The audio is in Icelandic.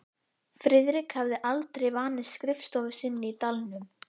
Friðrik hafði aldrei vanist skrifstofu sinni í dalnum.